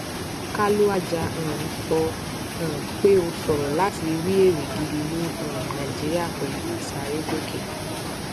kalu aja um sọ um pé ó ṣòro láti rí èrè gidi ní um nàìjíríà pẹlú ìsárégòkè